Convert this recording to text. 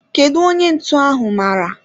Kedu onye ntụ ahu mara?